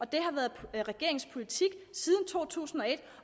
det har været regeringens politik siden to tusind og et